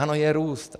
Ano, je růst.